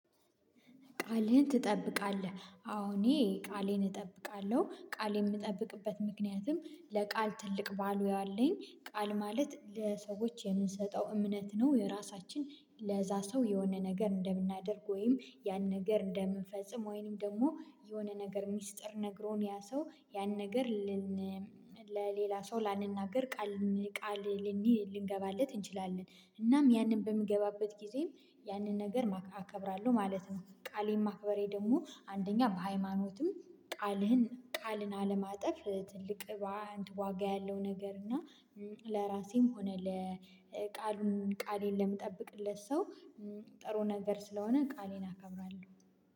ቃልህን ትጠብቃለህ? አዎ እኔ ቃሌን እጠብቃለሁ ቃሌን የምጠብቅበት ምክንያትም ለቃል ትልቅ ባልዊ አለኝ ቃል ማለት ለሰዎች የምንሰጠው እምነት ነው። የራሳችን ለዚያ ሰው የሆነ ነገር እንደምናደርግ ወይም ያን ነገር እንደምንፈጽም ወይም ደግሞ የሆነ ነገር ሚስጥር ነግሮን ያ ሰው ያን ነገር ልን ለሌላ ሰው ለንናገር ቃል ቃል ልንገባለት እንችላለን። እናም ያንን በምገባበት ጊዜም ያንን ነገር አከብራለሁ ማለት ነው። ቃሌን ማክበሬ ደግሞ አንደኛ በሃይማኖትም ቃልህን ቃልን አለማጠፍ ትልቅ ዋጋ ያለው ነገር እና ለራሴም ሆነ ለቃሉን ቃሌን ለምጠብቅለት ሰው ጥሩ ነገር ስለሆነ ቃሌን አከብራለሁ።